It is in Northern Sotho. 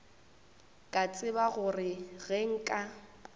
ka tseba gore ge nka